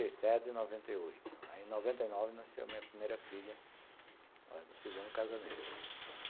Noventa e sete, noventa e oito, aí em noventa e nove nasceu a minha primeira filha, do segundo casamento.